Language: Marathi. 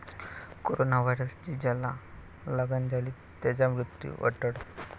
कोरोना व्हायरसची ज्याला लागण झाली त्याचा मृत्यू अटळ?